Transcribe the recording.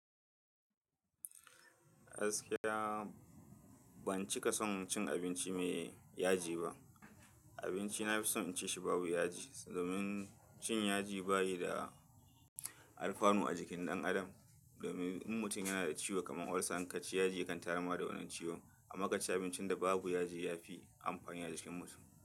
Gaskiya ban cika son cin abinci me yaji ba. Abinci na fi son in ci shi babu yaji. Domin cin yaji bayi da alfanu a jikin ɗan adam. Domin in mutum yana da ciwo kamar ulcer in ka ci yaji ya kan tayarma da wannan ciwon. Amma ka ci abincin da babu yaji ya fi amfani a jikin mutum.